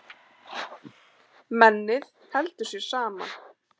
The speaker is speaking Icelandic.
Mennið heldur sér saman.